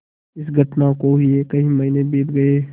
इस घटना को हुए कई महीने बीत गये